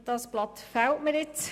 Dieses Blatt fehlt mir.